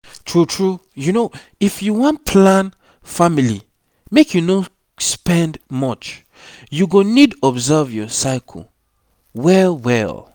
true true if you wan plan family make you no sped much you go need observe your cycle well well